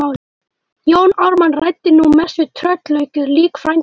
Jón Ármann ræddi nú mest við tröllaukið lík frænda síns.